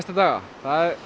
daga